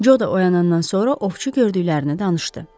Co da oyanandan sonra ovçu gördüklərini danışdı.